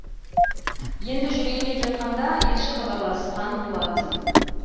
енді жүрейін деп жатқанда елші хабарласқан болатын